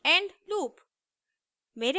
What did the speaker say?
end loop